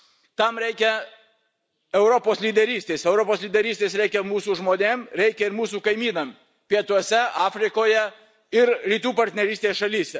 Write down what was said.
Tam reikia Europos lyderystės, Europos lyderystės reikia mūsų žmonėms, reikia ir mūsų kaimynams pietuose, Afrikoje ir Rytų partnerystės šalyse.